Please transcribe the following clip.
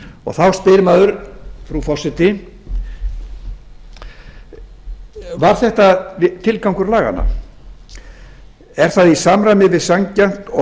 þá spyr maður frú forseti var þetta tilgangur laganna er það í samræmi við sanngjarnt og